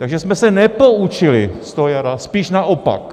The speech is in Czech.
Takže jsme se nepoučili z toho jara, spíš naopak.